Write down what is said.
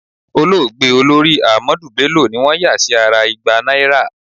Olóògbé Olórí Ahmadu Bello ni wọ́n yà sí ara igba náírà.